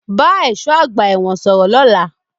Talk to the prison guard tomorrow